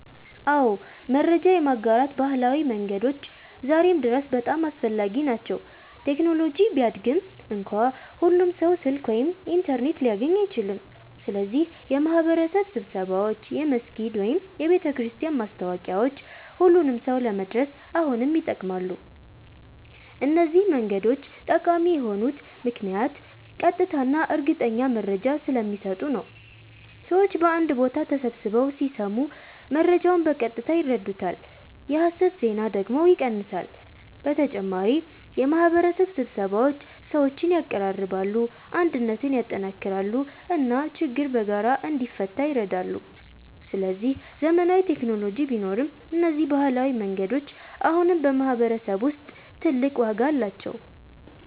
አዎ፣ መረጃ የማጋራት ባህላዊ መንገዶች ዛሬም ድረስ በጣም አስፈላጊ ናቸው። ቴክኖሎጂ ቢያድግም እንኳ ሁሉም ሰው ስልክ ወይም ኢንተርኔት ሊያገኝ አይችልም። ስለዚህ የማህበረሰብ ስብሰባዎች፣ የመስጊድ ወይም የቤተክርስቲያን ማስታወቂያዎች ሁሉንም ሰው ለመድረስ አሁንም ይጠቅማሉ። እነዚህ መንገዶች ጠቃሚ የሆኑት ምክንያት ቀጥታ እና እርግጠኛ መረጃ ስለሚሰጡ ነው። ሰዎች በአንድ ቦታ ተሰብስበው ሲሰሙ መረጃውን በቀጥታ ይረዱታል፣ የሐሰት ዜና ደግሞ ይቀንሳል። በተጨማሪ የማህበረሰብ ስብሰባዎች ሰዎችን ያቀራርባሉ፣ አንድነትን ያጠናክራሉ እና ችግር በጋራ እንዲፈታ ይረዳሉ። ስለዚህ ዘመናዊ ቴክኖሎጂ ቢኖርም እነዚህ ባህላዊ መንገዶች አሁንም በማህበረሰብ ውስጥ ትልቅ ዋጋ አላቸው።